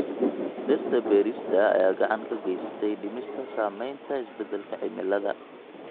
Dhirta beerista ayaa gacan ka geysatay dhimista saamaynta isbeddelka cimilada.